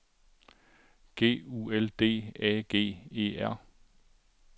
G U L D A G E R